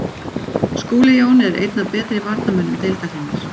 Skúli Jón er einn af betri varnarmönnum deildarinnar,